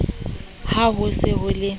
ha ho se ho le